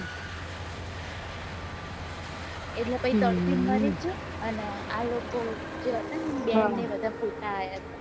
એટલે પહી તડપી ને મરી ગયો અને આ લોકો જે હતા બેન ને એ બધા